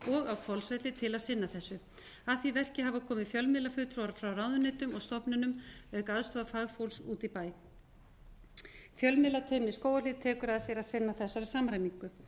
á hvolsfelli til að sinna þessu að því verki hafa komið fjölmiðlafulltrúar frá ráðuneytum og stofnunum auk aðstoðar fagfólks úti í bæ fjölmiðlateymi í skógarhlíð tekur að sér að sinna þessari samræmingu